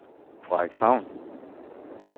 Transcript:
Frederikshavn